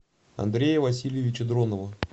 андрея васильевича дронова